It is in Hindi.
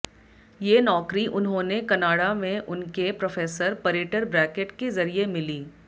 ये नौकरी उन्होंने कनाडा में उनके प्रोफ़ेसर परेटर ब्रैकेट के ज़रिये मिली